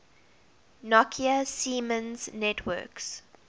nokia siemens networks